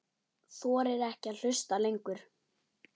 Þorir ekki að hlusta lengur.